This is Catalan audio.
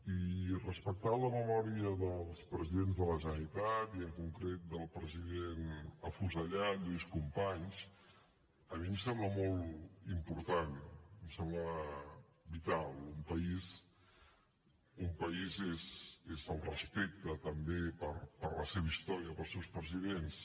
i respectar la memòria dels presidents de la generalitat i en concret del president afusellat lluís companys a mi em sembla molt important em sembla vital un país és el respecte també per la seva història pels seus presidents